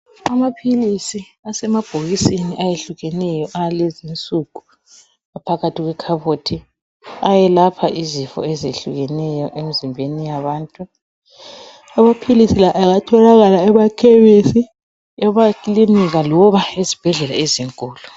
Amaphilisi asemabhokisini ayehlukeneyo alezi nsuku aphakathi kwekhabothi ayelapha izifo ezihlukeneyo emizimbeni yabantu amaphilisi la engatholakala emakhemisi emakilinika loba ezibhedlela ezinkulu.